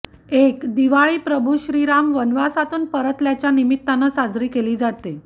एक दिवाळी प्रभू श्रीराम वनवासातून परतल्याच्या निमित्तानं साजरी केली जाते